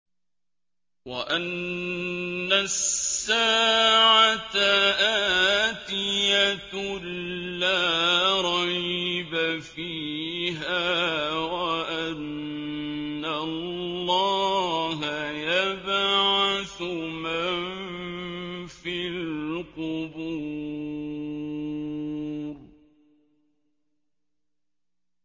وَأَنَّ السَّاعَةَ آتِيَةٌ لَّا رَيْبَ فِيهَا وَأَنَّ اللَّهَ يَبْعَثُ مَن فِي الْقُبُورِ